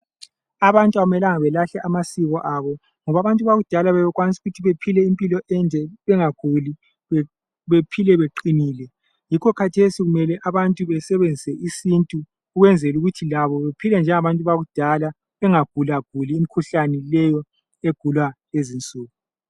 Abantu akumelanga balahle amasiko abo ngoba abantu bakudala bebekwanisa ukuthi baphile impilo ende bengaguli bephile beqinile yikho kathesi kumele abantu basebenzise isintu ukwenzela ukuthi labo baphile njengabantu bakudala bengagulaguli imikhuhlane leyo egulwa lezi nsuku